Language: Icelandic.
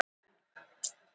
Sveinbjörn andaði þungt.